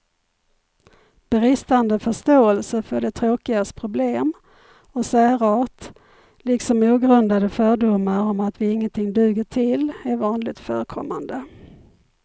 Bristande förståelse för de tråkigas problem och särart, liksom ogrundade fördomar om att vi ingenting duger till är vanligt förekommande.